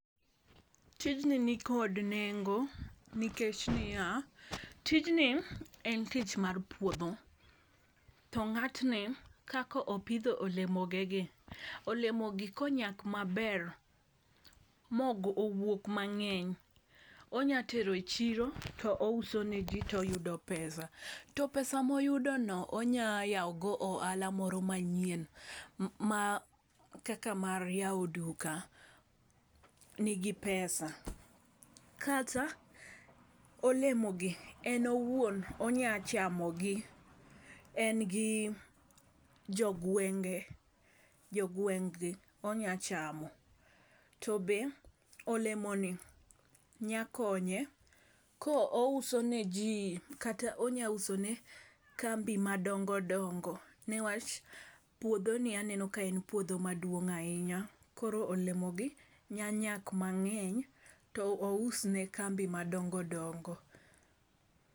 Tijni nikod nengo nikech niya: tijni en tich mar puodho. To ng'atni kako pidho olemo ge gi . Olemo gi konyak maber mogo mowuok mang'eny, onya tero e chiro touso ne jii toyudo pesa to pesa moyudo no onya yawo godo ohala moro manyien kaka mar yawo duka nigi pesa, kata olemo gi en owuon onya chamo gi , en gi jogwenge jogweng'gi onya chamo .To be olemo gi nya konye kouso ne jii kata onya uso ne kambi madongodongo newach, puodho ni aneno ka en puodho maduong ahinya, koro olemo gi nyanyak mang'eny to ou ous ne kambi madongodongo.